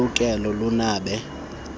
loluleke lunabe lubheke